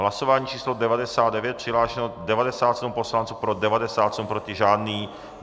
Hlasování číslo 99, přihlášeno 97 poslanců, pro 97, proti žádný.